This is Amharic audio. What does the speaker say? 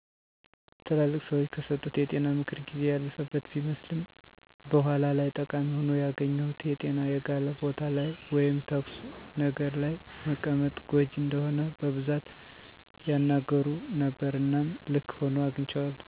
ትላልቅ ሰዎች ከሰጡት የጤና ምክር ጊዜ ያለፈበት ቢመስልም በኋላ ላይ ጠቃሚ ሆኖ ያገኘሁት የጤና የጋለ ቦታ ላይ ወይም ተኩስ ነገር ለይ መቀመጥ ጎጅ እንደሆነ በቡዛት ያናገሩ ነበረ እናም ልክ ሁኖ አግንቸዋለዉ።